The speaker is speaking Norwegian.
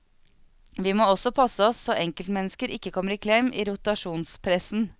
Vi må også passe oss så enkeltmennesker ikke kommer i klem i rotasjonspressen.